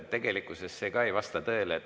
Tegelikkuses see ka ei vasta tõele.